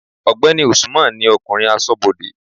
ọgbẹni Usman ni okunrin asobode